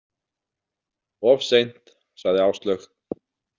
Of seint, sagði Áslaug.